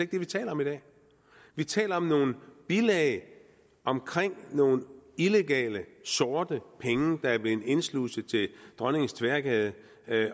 det vi taler om i dag vi taler om nogle bilag om nogle illegale sorte penge der er blevet indsluset til dronningens tværgade